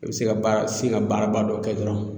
I bɛ se ka baara se ka baaraba dɔ kɛ dɔrɔn.